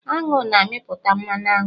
Aṅụ na-amịpụta Mmanụ aṅụ